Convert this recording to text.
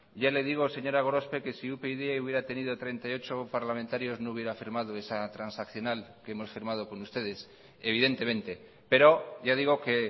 ya le digo señora gorospe que si upyd hubiera tenido treinta y ocho parlamentarios no hubiera firmado esa transaccional que hemos firmado con ustedes evidentemente pero ya digo que